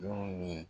Yɔrɔ min